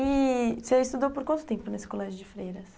E você estudou por quanto tempo nesse colégio de freiras?